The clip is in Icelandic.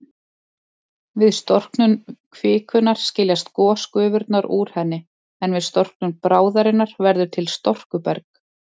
Við storknun kvikunnar skiljast gosgufurnar úr henni, en við storknun bráðarinnar verður til storkuberg.